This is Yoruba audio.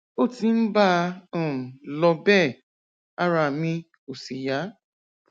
ó ti ń bá a um lọ bẹẹ ara mi ò sì yá